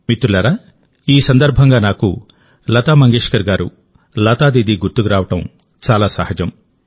మిత్రులారాఈ సందర్భంగా నాకు లతా మంగేష్కర్ గారు లతా దీదీ గుర్తుకు రావడం చాలా సహజం